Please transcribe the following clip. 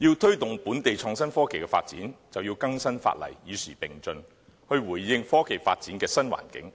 要推動本地創新科技的發展，便要更新法例，與時並進，回應科技發展的新環境，